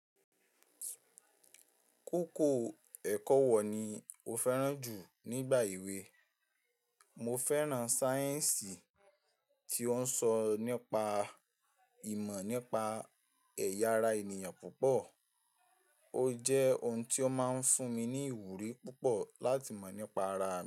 Kókó ẹ̀kọ́ wọ̀ ni o fẹ́ràn jù nígbà èwe? Mo fẹ́ràn sáyẹ̀nsì tí ó ń sọ nípa ìmọ̀ nípa ẹ̀yà ara ènìyàn púpọ̀, ó jẹ́ ohun tí ó máa ń fún mi ní ìwúrí púpọ̀ láti mọ̀ nípa ara mi.